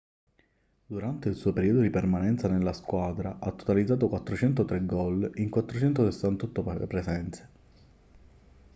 durante il suo periodo di permanenza nella squadra ha totalizzato 403 gol in 468 presenze